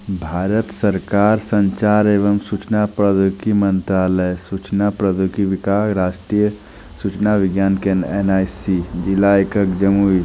भारत सरकार संचार एवं सूचना प्रोद्योगी मंत्रालय सूचना प्रद्योगी विकास राष्ट्रीय सूचना विज्ञान केन एन _आई _सी जिला एकक जमुई--